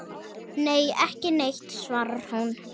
Nei, ekki neitt svarar hún.